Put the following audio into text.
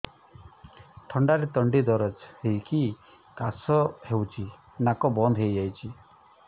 ଥଣ୍ଡାରେ ତଣ୍ଟି ଦରଜ ହେଇକି କାଶ ହଉଚି ନାକ ବନ୍ଦ ହୋଇଯାଉଛି